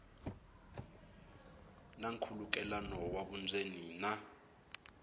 na nkhulukelano wa vundzeni na